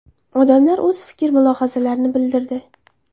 Odamlar o‘z fikr-mulohazalarini bildirdi.